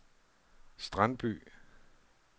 Strandby